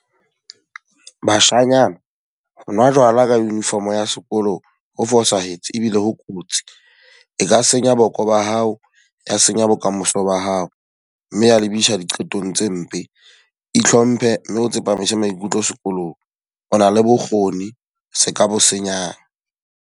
Bashanyana, ho nwa jwala ka uniform ya sekolo ho fosahetse ebile ho kotsi. E ka senya boko ba hao, ya senya bokamoso ba hao. Mme ya lebisa diqetong tse mpe. Ihlomphe mme o tsepamise maikutlo sekolong. O na le bokgoni se ka bo senyang.